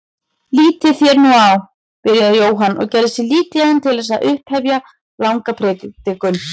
Lítið þér nú á, byrjaði Jóhann og gerði sig líklegan til að upphefja langa predikun.